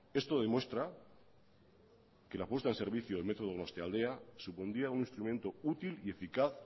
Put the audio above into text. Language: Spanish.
esto demuestra que la puesta en servicio del metro donostialdea supondría un instrumento útil y eficaz